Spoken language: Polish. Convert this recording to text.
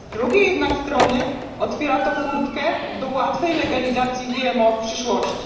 Z drugiej jednak strony otwiera to furtkę do łatwej legalizacji GMO w przyszłości.